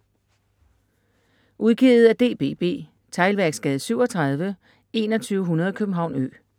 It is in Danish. Udgivet af DBB Teglværksgade 37 2100 København Ø